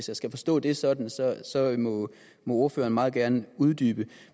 jeg skal forstå det sådan sådan må ordføreren meget gerne uddybe